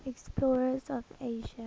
explorers of asia